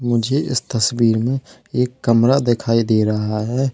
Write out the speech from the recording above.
मुझे इस तस्वीर में एक कमरा दिखाई दे रहा है।